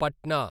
Patna